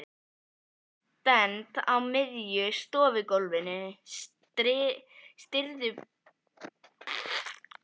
Stend á miðju stofugólfinu, stirðbusaleg og sver, og öskra.